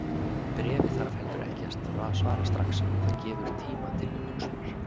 Bréfi þarf heldur ekki að svara strax, það gefur tíma til umhugsunar.